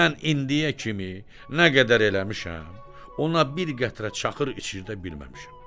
Mən indiyə kimi nə qədər eləmişəm, ona bir qətrə çaxır içirdə bilməmişəm.